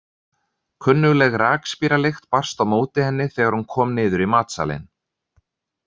Kunnugleg rakspíralykt barst á móti henni þegar hún kom niður í matsalinn.